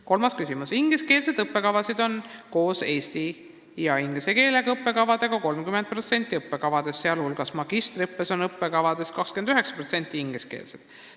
Kolmas küsimus: "Ingliskeelseid õppekavasid on koos eesti ja inglise keelega õppekavadega 30% õppekavadest, sh magistriõppes on õppekavadest 29% ingliskeelsed.